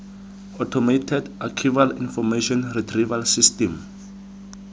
automated archival information retrieval system